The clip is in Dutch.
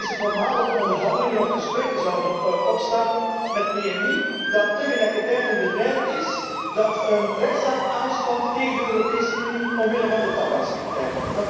Want is het normaal dat wij onderhandelingen of gesprekken zouden opstarten met PMI, dat tegelijkertijd een bedrijf is dat een rechtszaak aanspant tegen de Europese Unie omwille van de tabaksrichtlijn?